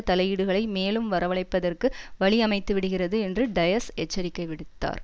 தலையீடுகளை மேலும் வரவழைப்பதற்கு வழி அமைத்துவிடுகிறது என்று டயஸ் எச்சரிக்கை விடுத்தார்